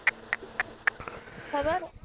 ਖਬਰ